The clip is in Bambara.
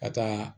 Ka taa